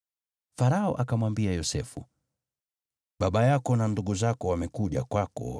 Farao akamwambia Yosefu, “Baba yako na ndugu zako wamekuja kwako,